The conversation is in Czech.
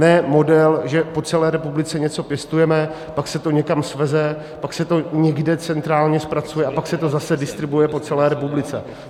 Ne model, že po celé republice něco pěstujeme, pak se to někam sveze, pak se to někde centrálně zpracuje a pak se to zase distribuuje po celé republice.